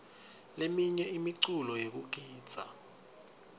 leminye imiculo yekugidza